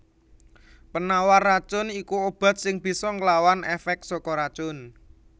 Penawar racun iku obat sing bisa nglawan èfèk saka racun